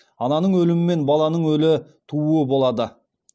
ананың өлімі мен баланың өлі тууы болады